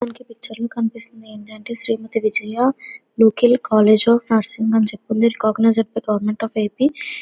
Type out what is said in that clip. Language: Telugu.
ఈ పిక్చర్ లో మనకి కనిపిస్తుంది. ఏంటంటే కాలేజ్ ఆఫ్ ఫ్యాషన్ అని చెప్పి ఉంది. ఇది recognised by government of AP --